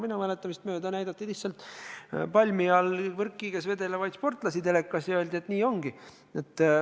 Minu mäletamist mööda näidati telekas lihtsalt palmi all võrkkiiges vedelevaid sportlasi ja öeldi, et nii ongi.